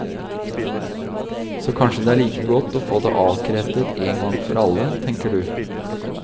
Så kanskje det er like godt å få det avkreftet en gang for alle, tenker du.